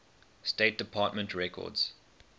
state department records